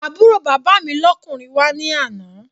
Àbúrò bàbá mi lọ́kùnrin wá ní àná